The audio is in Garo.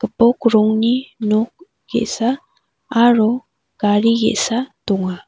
bok rongni nok ge·sa aro gari ge·sa donga.